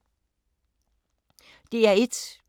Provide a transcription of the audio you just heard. DR1